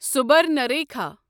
Subarnarekha